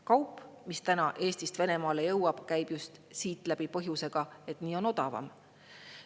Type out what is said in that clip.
Kaup, mis Eestist Venemaale jõuab, käib just siit läbi põhjusel, et nii on odavam.